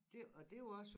Det og det jo også